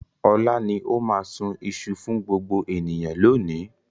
Ọlá ni ó máa sun iṣu fún gbogbo ènìyàn lónìí.